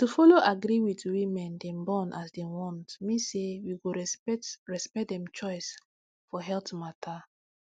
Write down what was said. to follow agree with women dey born as dem want mean say we go respect respect dem choice for health matter